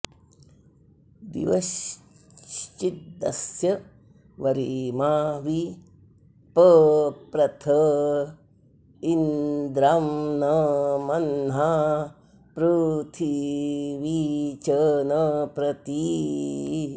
दि॒वश्चि॑दस्य वरि॒मा वि प॑प्रथ॒ इन्द्रं॒ न म॒ह्ना पृ॑थि॒वी च॒न प्रति॑